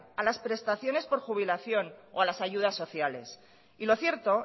a las prestaciones por jubilación o a las ayudas sociales y lo cierto